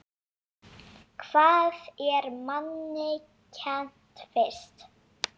Hvað er manni kennt fyrst?